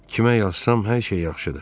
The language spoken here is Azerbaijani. Kimə yazsam, hər şey yaxşıdır.